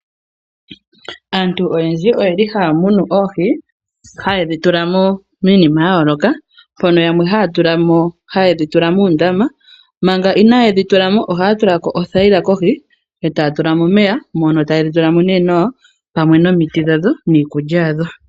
Aantu oyendji oyeli haa munu oohi haye dhi tula miinima ya yooloka, mpono yamwe haye dhi tula muundama, manga inaaye dhi tula mo ohaya tula ko othaila kohi, etaya tula mo omeya mono taye dhi tula mo nee nawa pamwe nomiti dhadho niikulya yadho.